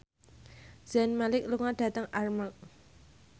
Zayn Malik lunga dhateng Armargh